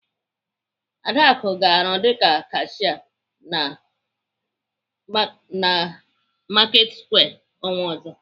Adaku ga-arụ dịka kashia na Marketsquare ọnwa ọzọ.